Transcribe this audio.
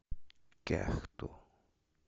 кяхту